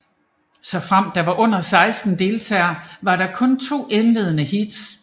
Såfremt der var under 16 deltagere var der kun to indledende heats